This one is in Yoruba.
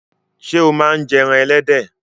Sé o má n je ẹran ẹlẹ́dẹ̀